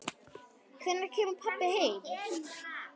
Hvenær kemur pabbi heim?